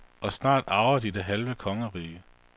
Og snart arver de det halve kongerige.